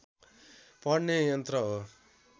पढ्ने यन्त्र हो